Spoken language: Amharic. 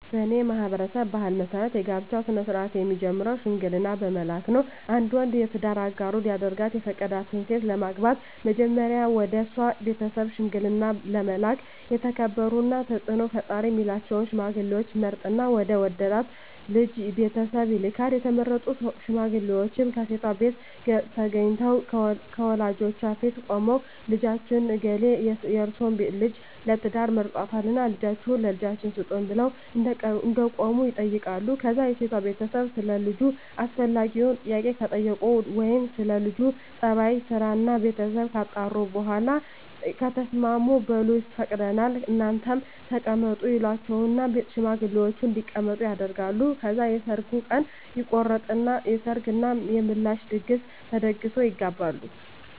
በኔ ማህበረሰብ ባህል መሰረት የጋብቻ ስነ-ስርአት የሚጀምረው ሽምግልና በመላክ ነው። አንድ ወንድ የትዳር አጋሩ ሊያደርጋት የፈቀዳትን ሴት ለማግባት መጀመሪያ ወደሷ ቤተሰብ ሽምግልና ለመላክ የተከበሩና ተጽኖ ፈጣሪ ሚላቸውን ሽማግሌወች ይመርጥና ወደ ወደዳት ልጅ ቤተሰብ ይልካል፣ የተመረጡት ሽማግሌወችም ከሴቷቤት ተገንተው ከወላጆቿ ፊት ቁመው ልጃችን እገሌ የርሰወን ልጅ ለትዳር መርጧልና ልጃችሁን ለልጃችን ስጡን ብለው እንደቆሙ ይጠይቃሉ ከዛ የሴቷ ቤተሰብ ሰለ ልጁ አስፈላጊውን ጥያቄ ከጠየቁ ወይም ስለ ለጁ ጸባይ፣ ስራና ቤተሰቡ ካጣሩ በኋላ ከተስማሙ በሉ ፈቅደናል እናንተም ተቀመጡ ይሏቸውና ሽማግሌወችን እንዲቀመጡ ያደርጋሉ። ከዛ የሰርጉ ቀን ይቆረጥና የሰርግ እና የምላሽ ድግስ ተደግሶ ይጋባሉ።